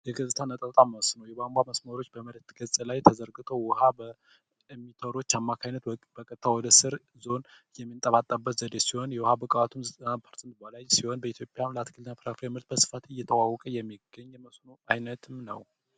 የገጽታ መስኖ የቧንቧ መስኖዎች በመሬት ላይ ተዘርግተው በቱቦ አማካኝነት በቀጥታ ወደ ስር ውሃው የሚጠባጠብበት ዘዴ ሲሆን ውሃው ከዘጠና ፐርሰንት በላይ በኢትዮጵያ የአትክልት እና ፍራፍሬ ምርት ላይ በስፋት እየተዋወቀ የሚገኝ የመስኖ ዓይነትም ነው።